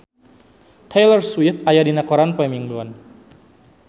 Taylor Swift aya dina koran poe Minggon